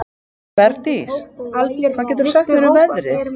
Bergdís, hvað geturðu sagt mér um veðrið?